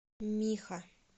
миха